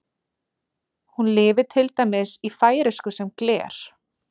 Hún lifir til dæmis í færeysku sem gler.